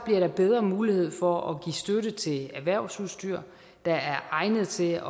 der bedre mulighed for at give støtte til erhvervsudstyr der er egnet til